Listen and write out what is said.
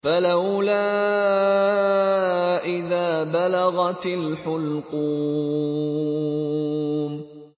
فَلَوْلَا إِذَا بَلَغَتِ الْحُلْقُومَ